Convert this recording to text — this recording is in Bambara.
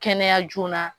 Kɛnɛya joona